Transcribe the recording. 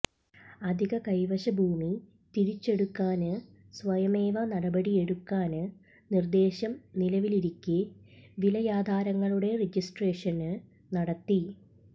അധിക കൈവശഭൂമി തിരിച്ചെടുക്കാന് സ്വയമേവ നടപടിയെടുക്കാന് നിര്ദ്ദേശം നിലവിലിരിക്കെ വിലയാധാരങ്ങളുടെ രജിസ്ടേഷന് നടത്തി